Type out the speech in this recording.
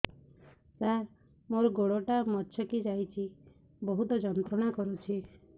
ସାର ମୋର ଗୋଡ ଟା ମଛକି ଯାଇଛି ବହୁତ ଯନ୍ତ୍ରଣା କରୁଛି